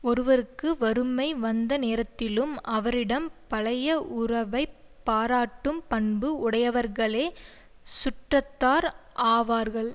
ஒருவருக்கு வறுமை வந்த நேரத்திலும் அவரிடம் பழைய உறவை பாராட்டும் பண்பு உடையவர்களே சுற்றத்தார் ஆவார்கள்